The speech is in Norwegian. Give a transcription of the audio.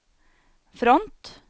front